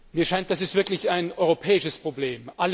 Mir scheint, das ist wirklich ein europäisches Problem.